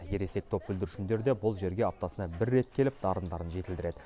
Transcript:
ересек топ бүлдіршіндері де бұл жерге аптасына бір рет келіп дарындарын жетілдіреді